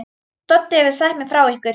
Doddi hefur sagt mér frá ykkur.